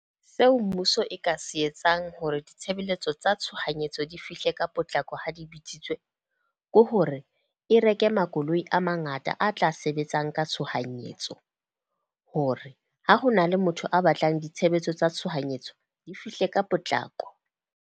Seo mmuso e ka se etsang hore ditshebeletso tsa tshohanyetso di fihle ka potlako ha di bitsitswe, ke hore e reke makoloi a mangata a tla sebetsang ka tshohanyetso. Hore ha ho na le motho a batlang ditshebetso tsa tshohanyetso di fihle ka potlako.